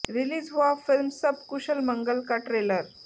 release हुआ film Sab Kushal Mangal का trailer